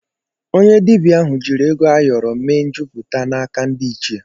Onye dibịa ahụ jiri ego ayọrọ mee njupụta n'aka ndị ịchie.